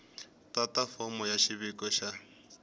tata fomo ya xiviko xa